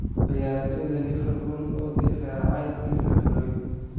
Ciyaartoyda Liverpool oo difaacay dilka Floyd